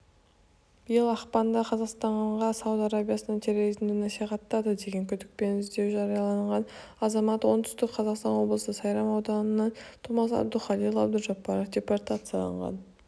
биыл ақпанда қазақстанға сауд арабиясынан терроризмді насихаттады деген күдікпен іздеу жарияланған азамат оңтүстік қазақстан облысы сайрам ауданының тумасы абдухалил абдужаббаров депортацияланған